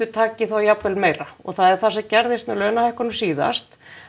taki þá jafnvel meira og það er það sem gerðist með launahækkunina síðast